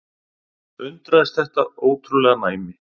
Undraðist þetta ótrúlega næmi.